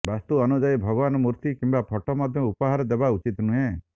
ବାସ୍ତୁ ଅନୁଯାୟୀ ଭଗବାନଙ୍କ ମୂର୍ତ୍ତି କିମ୍ବା ଫଟୋ ମଧ୍ୟ ଉପହାର ଦେବା ଉଚିତ ନୁହେଁ